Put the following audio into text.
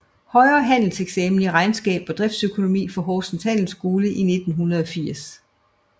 Højere Handelseksamen i regnskab og driftsøkonomi fra Horsens Handelsskole i 1980